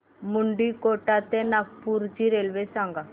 मुंडीकोटा ते नागपूर ची रेल्वे सांगा